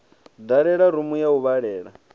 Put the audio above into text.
dalela rumu ya u vhalela